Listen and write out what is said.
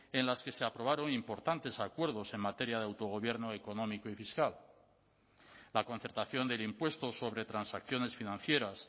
en las que se aprobaron importantes acuerdos en materia de autogobierno económico y fiscal la concertación del impuesto sobre transacciones financieras